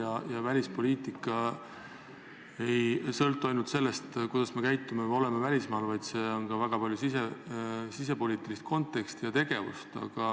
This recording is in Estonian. Aga välispoliitika ei sõltu ainult sellest, kuidas me käitume või oleme välismaal, sellel on ka väga tugev sisepoliitiline kontekst.